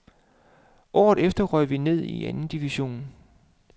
Året efter røg vi ned i anden division.